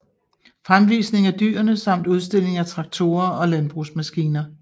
Fremvisning af dyrene samt udstilling af traktorer og landbrugsmaskiner